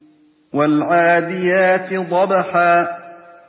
وَالْعَادِيَاتِ ضَبْحًا